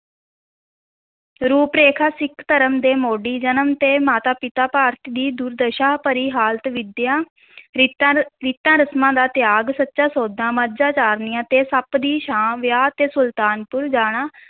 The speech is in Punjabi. ਰੂਪ-ਰੇਖਾ, ਸਿੱਖ ਧਰਮ ਦੇ ਮੋਢੀ, ਜਨਮ ਤੇ ਮਾਤਾ-ਪਿਤਾ, ਭਾਰਤ ਦੀ ਦੁਰਦਸ਼ਾ ਭਰੀ ਹਾਲਤ, ਵਿੱਦਿਆ ਰੀਤਾਂ, ਰੀਤਾਂ-ਰਸਮਾਂ ਦਾ ਤਿਆਗ, ਸੱਚਾ ਸੌਦਾ, ਮੱਝਾਂ ਚਾਰਨੀਆਂ ਤੇ ਸੱਪ ਦੀ ਛਾਂ, ਵਿਆਹ ਤੇ ਸੁਲਤਾਨਪੁਰ ਜਾਣਾ,